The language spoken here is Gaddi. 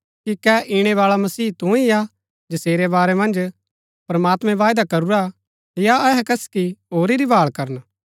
कि कै इणै बाळा मसीहा तू ही हा जसेरै बारै मन्ज प्रमात्मैं बायदा करूरा या अहै कसकि होरी री भाळ करन